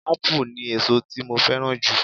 Ápù ni èso tí mo fẹ́ràn jù